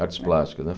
Artes plásticas, né?